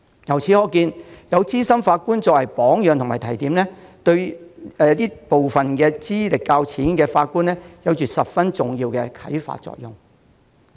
由此可見，資深法官的榜樣及提點，對部分資歷較淺的法官有很重要的啟發作用。